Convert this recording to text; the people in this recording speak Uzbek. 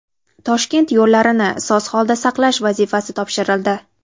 Toshkent yo‘llarini soz holda saqlash vazifasi topshirildi.